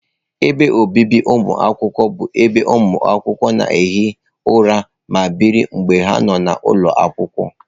Ebe obibi ụmụakwụkwọ bụ ebe ụmụ akwụkwọ na-ehi ụra ma biri mgbe ha nọ n'ụlọ akwụkwọ.